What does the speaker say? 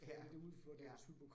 Ja, ja